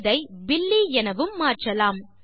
இதை பில்லி எனவும் மாற்றலாம்